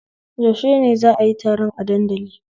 Yaushe ne za'a yi taron a dandali?